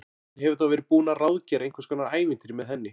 Hann hefur þá verið búinn að ráðgera einhvers konar ævintýri með henni!